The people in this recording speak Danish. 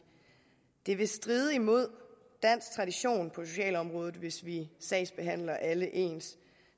det vil stride imod dansk tradition på socialområdet hvis vi sagsbehandler alle ens